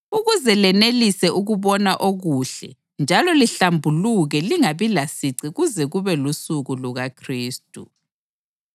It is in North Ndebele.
ukuze lenelise ukubona okuhle njalo lihlambuluke lingabi lasici kuze kube lusuku lukaKhristu,